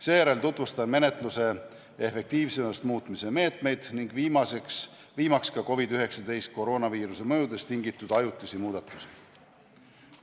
Seejärel tutvustan menetluse efektiivsemaks muutmise meetmeid ning viimaks ka COVID-19 koroonaviiruse mõjudest tingitud ajutisi muudatusi.